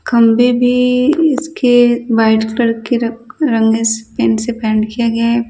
खंभे भी इसके व्हाइट कलर के र रंगस पेंट से पेंट किया गया है।